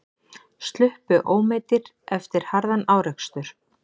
Sluppu ómeiddir eftir harðan árekstur